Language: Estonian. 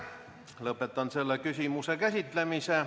Lõpetan selle küsimuse käsitlemise.